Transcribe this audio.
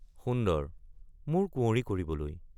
সুন্দৰ—মোৰ কুঁৱৰী কৰিবলৈ।